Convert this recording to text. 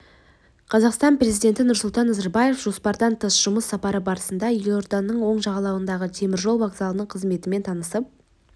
қазақстан президенті нұрсұлтан назарбаев жоспардан тыс жұмыс сапары барысында елорданың оң жағалауындағы теміржол вокзалының қызметімен танысып